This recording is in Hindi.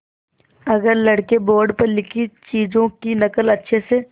अगर लड़के बोर्ड पर लिखी चीज़ों की नकल अच्छे से